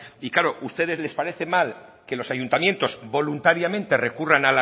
y claro a ustedes les parece mal que los ayuntamientos voluntariamente recurran